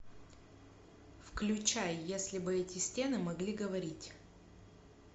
включай если бы эти стены могли говорить